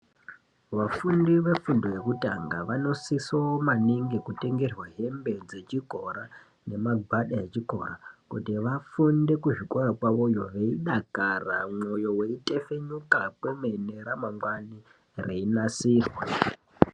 Vafundi vefundo yekutanga vosiso maningi kutengerwa hembe dzechikora ngemagwada echikora kuti vafunde kuzvikora kwavoyo nekudakara mwoyo weyitefenuka kwemene ramangwani reinasirwa.